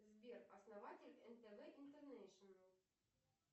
сбер основатель нтв интернешнл